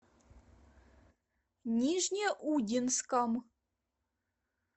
нижнеудинском